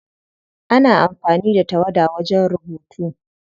Ana amfani da tawada wajen rubutu.